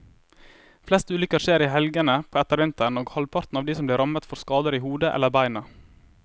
Flest ulykker skjer i helgene på ettervinteren, og halvparten av de som blir rammet får skader i hodet eller beina.